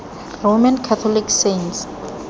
roman catholic saints